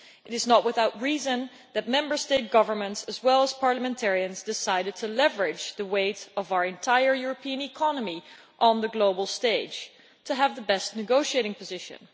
It is not without reason that Member State governments, as well as parliamentarians, decided to leverage the weight of our entire European economy on the global stage to have the best negotiating position.